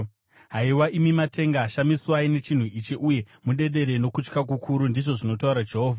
Haiwa, imi matenga, shamiswai nechinhu ichi, uye mudedere nokutya kukuru,” ndizvo zvinotaura Jehovha.